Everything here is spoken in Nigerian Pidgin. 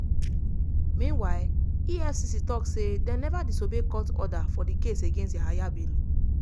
meanwhile efcc tok say dem neva disobey court order for di case against yahaya bello.